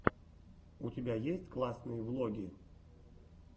у тебя есть классные влоги